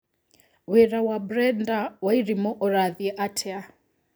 wĩra wa Brenda Wairimu ũrathĩi atĩa